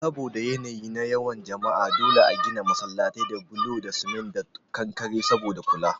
Saboda yanayi na yawan jama'a dole a gina masallatai da bulo na cement da kankare saboda kula